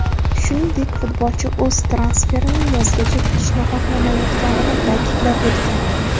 Shuningdek, futbolchi o‘z transferini yozgacha kutishni xohlamayotganini ta’kidlab o‘tgan.